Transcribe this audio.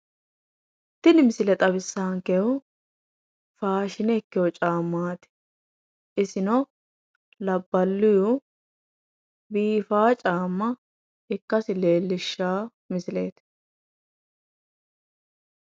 Tini misile xawissaankehu faashine ikkeyo caammaati. isino labballuyho biifaa caamma ikkasi leellishshawo misileeti.